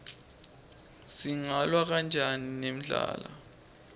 singalwa kanjani nendlala